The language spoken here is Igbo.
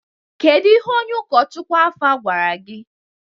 Kedu ihe onye ụkọchukwu Alfa gwara gị?